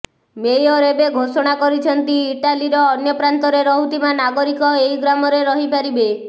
mayor ଏବେ ଘୋଷଣା କରିଛନ୍ତି ଇଟାଲୀର ଅନ୍ୟ ପ୍ରାନ୍ତରେ ରହୁଥିବା ନାଗରିକ ଏଇ ଗ୍ରାମରେ ରହିପାରିବେ